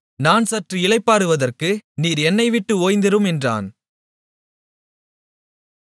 நான் சற்று இளைப்பாறுவதற்கு நீர் என்னைவிட்டு ஓய்ந்திரும் என்றான்